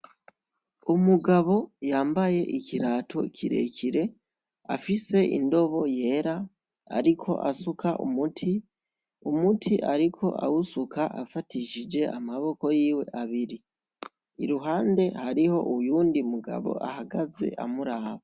Umugabo yambaye ikirato kirekire afise indobo yera, umuti ariko awusuka afatishije amaboko yiwe abiri. Iruhande hariyo uyundi mugabo ahagaze amuraba.